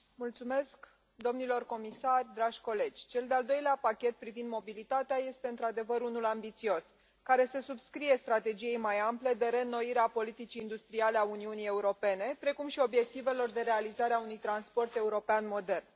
Domnule președinte, domnilor comisari, dragi colegi, cel de al doilea pachet privind mobilitatea este, într adevăr, unul ambițios care se subscrie strategiei mai ample de reînnoire a politicii industriale a Uniunii Europene, precum și obiectivelor de realizare a unui transport european modern.